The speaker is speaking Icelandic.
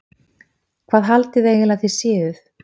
Hvað haldið þið eiginlega að þið séuð?